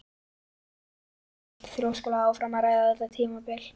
En Örn hélt þrjóskulega áfram að ræða þetta tímabil.